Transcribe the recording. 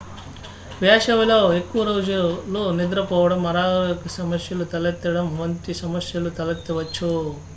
వేసవిలో ఎక్కువ రోజులు నిద్రపోవడం అనారోగ్య సమస్యలు తలెత్తడం వంటి సమస్యలు తలెత్తవచ్చు